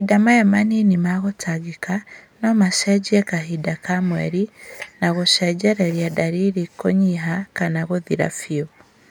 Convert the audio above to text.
Mahinda maya manini ma gũtangĩka no macenjie kahinda ka mweri na gũcũngĩrĩrie ndariri kũnyiha kana gũthira biũ